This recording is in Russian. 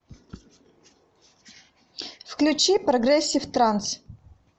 включи прогрессив транс